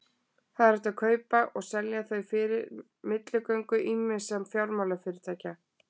hægt er að kaupa og selja þau fyrir milligöngu ýmissa fjármálafyrirtækja